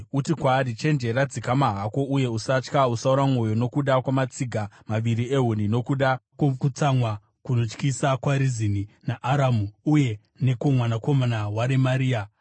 Uti kwaari, ‘Chenjera, dzikama hako, uye usatya. Usaora mwoyo nokuda kwamatsiga maviri ehuni, nokuda kwokutsamwa kunotyisa kwaRezini naAramu uye nekwomwanakomana waRemaria.